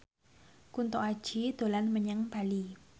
Kunto Aji dolan menyang Bali